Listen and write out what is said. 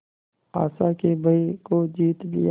आशा के भय को जीत लिया